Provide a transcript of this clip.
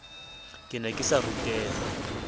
ke ne ke sa ruteha